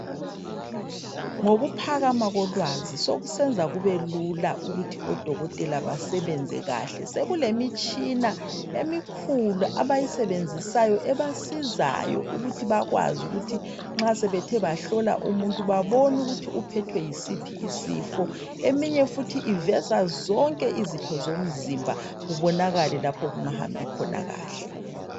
Ngokuphakama kolwazi sekusenza kubelula ukuthi odokotela basebenze kahle. Sekulemitshina emikhulu, abayisebenzisayo. Ebasizayo ukuthi bakwazi ukuthi nxa sebethe bahlola umuntu, babone ukuthi uphethwe yisiphi isifo..Eminye futhi iveza zonke izitho zomzimba. Kubonakale lapha okungahambi khona kahle .